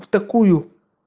в такую